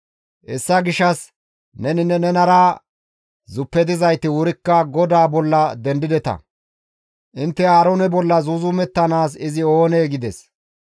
hessa gishshas neninne nenara zuppetizayti wurikka GODAA bolla dendideta; intte Aaroone bolla zuuzumettanaas izi oonee?» gides.